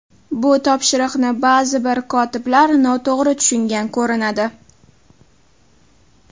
Bu topshiriqni ba’zi bir kotiblar noto‘g‘ri tushungan ko‘rinadi.